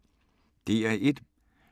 DR P1